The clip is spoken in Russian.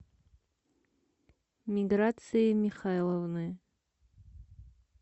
миграции михайловны